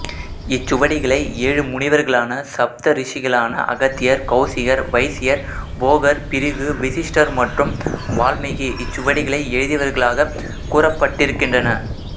இச்சுவடிகளை ஏழு முனிவர்களான சப்தரிஷிகளான அகத்தியர் கௌசிகர் வைசியர் போகர் பிரிகு வசிஸ்டர் மற்றும் வால்மீகி இச்சுவடிகளை எழுதியவர்களாக கூறப்பட்டிருக்கின்றன